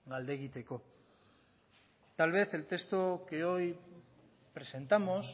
galdegiteko tal vez el texto que hoy presentamos